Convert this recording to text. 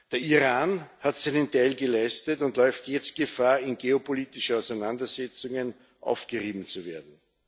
Der Iran hat seinen Teil geleistet und läuft jetzt Gefahr, in geopolitischen Auseinandersetzungen aufgerieben zu werden.